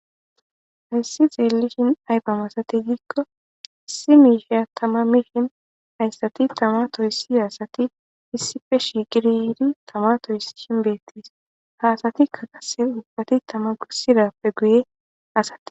Hayssi xeelishin ay masatize giiko,issi miisha tamay mishin haysati tama toysiza asati issipe shiiqidi yiidi tama toysishin beetees. Ha asatika qasse tama toysidape guyen aggetees.